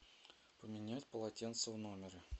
поменять полотенце в номере